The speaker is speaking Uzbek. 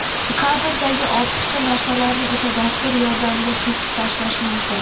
Kadrdagi ortiqcha narsalarni esa dastur yordamida kesib tashlash mumkin.